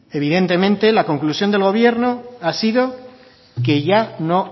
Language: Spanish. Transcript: evidentemente la conclusión del gobierno ha sido que ya no